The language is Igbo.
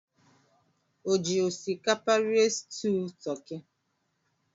O ji osikapa rie stuu toki?